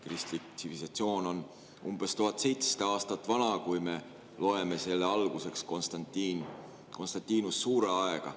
Kristlik tsivilisatsioon on umbes 1700 aastat vana, kui me loeme selle alguseks Constantinus Suure aega.